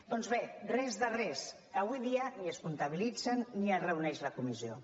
doncs bé res de res avui dia ni es comptabilitzen ni es reuneix la comissió